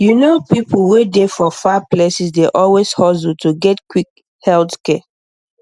you know people wey dey for far places dey always hustle to get quick health care